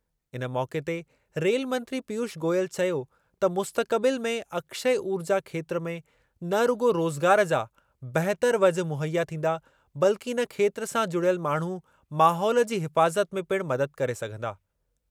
इन मौक़े ते रेल मंत्री पीयूष गोयल चयो त मुस्तक़बिलु में अक्षय ऊर्जा खेत्रु में न रुॻो रोज़गार जा बहितरु वझ मुहैया थींदा बल्कि इन खेत्रु सां जुड़ियल माण्हू माहोल जी हिफ़ाज़त में पिणु मददु करे सघंदा।